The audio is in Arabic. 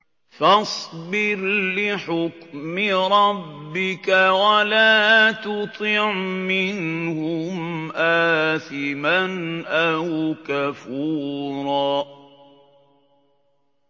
فَاصْبِرْ لِحُكْمِ رَبِّكَ وَلَا تُطِعْ مِنْهُمْ آثِمًا أَوْ كَفُورًا